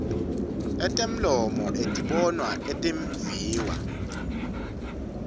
etemlomo etibonwa etimviwa